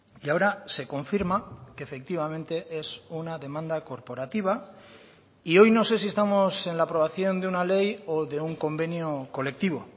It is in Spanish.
y ahora se confirma que efectivamente es una demanda corporativa y hoy no sé si estamos en la aprobación de una ley o de un convenio colectivo